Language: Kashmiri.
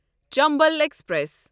چنبل ایکسپریس